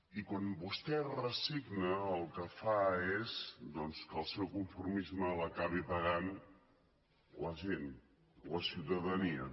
i quan vostè es resigna el que fa és doncs que el seu conformisme l’acabi pagant la gent la ciutadania